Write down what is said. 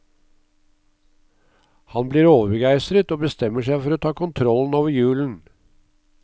Han blir overbegeistret, og bestemmer seg for å ta kontrollen over julen.